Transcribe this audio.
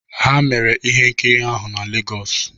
Ha mere ihe nkiri ahụ na Legos